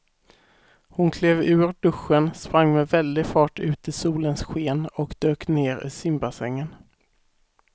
Hon klev ur duschen, sprang med väldig fart ut i solens sken och dök ner i simbassängen.